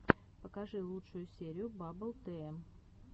покажи лучшую серию баббл тм